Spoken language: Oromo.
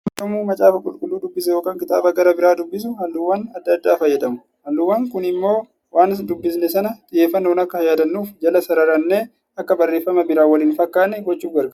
Namni yommuu macaafa qulqulluu dubbisu yookaan kitaaba gara biraa dubbisu, halluuwwan adda addaa fayyadamu. Halluuwwan Kun immoo waan dubbisne sana xiyyeeffannoon akka yaadannuuf, jala sararannee akka barreeffama biraan wal hin fakkaannee gochuuf gargaara.